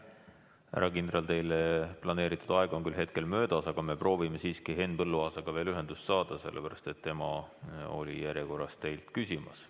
Härra kindral, teile planeeritud aeg on küll möödas, aga me proovime siiski Henn Põlluaasaga veel ühendust saada, sellepärast et tema oli teile esitatavate küsimuste järjekorras.